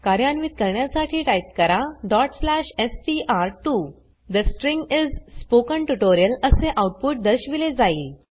कार्यान्वीत करण्यासाठी टाइप करा str2 ठे स्ट्रिंग इस spoken ट्युटोरियल असे आउटपुट दर्शविले जाईल